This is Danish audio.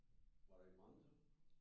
Var der I mange så?